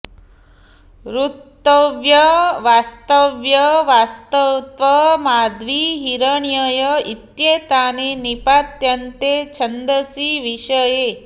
ऋत्व्य वास्त्व्य वास्त्व माध्वी हिरण्यय इत्येतानि निपात्यन्ते छन्दसि विषये